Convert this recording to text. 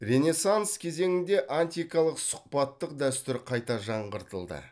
ренессанс кезеңінде антикалық сұхбаттық дәстүр қайта жаңғыртылды